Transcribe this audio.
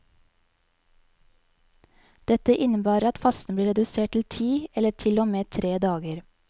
Dette innebærer at fasten ble redusert til ti, eller til og med tre dager.